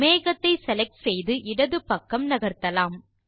மேகத்தை செலக்ட் செய்து இடது பக்கம் நகர்த்தலாம்